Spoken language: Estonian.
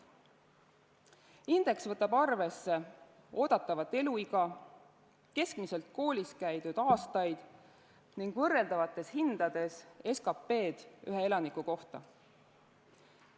Indeks võtab arvesse oodatavat eluiga, keskmiselt koolis käidud aastaid ning võrreldavates hindades SKP-d ühe elaniku kohta.